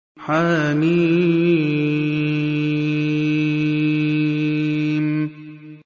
حم